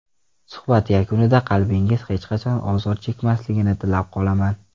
Suhbat yakunida qalbingiz hech qachon ozor chekmasligini tilab qolaman.